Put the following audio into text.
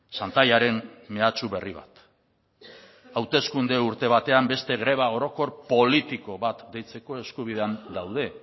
xantaiaren mehatxu berri bat hauteskunde urte batean beste greba orokor politiko bat deitzeko eskubidean daude